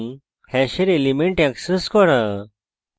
hash elements access করা